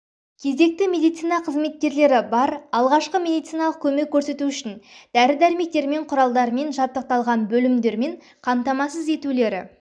кезекші медицина қызметкерлері бар алғашқы медициналық көмек көрсету үшін дәр-дәрімектерімен құралдармен жабдықталған бөлімдермен қамтамасыз етулері